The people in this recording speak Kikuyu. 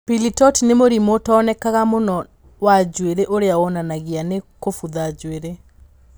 Pili torti nĩ mũrimũ ũtaonekanaga mũno wa njuĩrĩ ũrĩa wonanagio nĩ kũbutha njuĩrĩ.